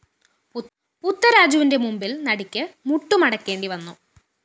പുത്തരാജുവിന്റെ മുമ്പില്‍ നടിക്ക്‌ മുട്ടുമടക്കേണ്ടി വന്നു